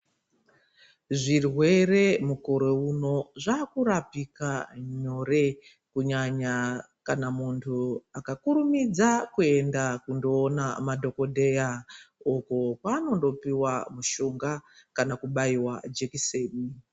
Zvirwere mukore uno zvaakurapika nyore kunyanya kana mundu akakurumidza kuenda kundoona madhokodheya uko kwaanondopiwa mushonga kana kubayirwa jekiseni.